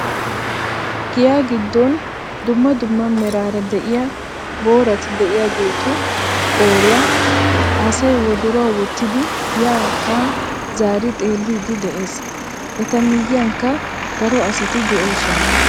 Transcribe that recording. Giya giddon dumma dumma meraara de'iyaa boorati de'iyaagetu qooriyaa asay wodoruwaa wottidi ya haa zaari xeelliidi de'ees. Eta miyankka daro asati de'oosona.